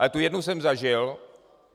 Ale tu jednu jsem zažil.